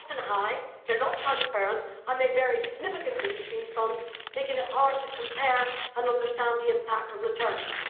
They are often high, they are not transparent and they vary significantly between funds, making it hard to compare and understand the impact on returns.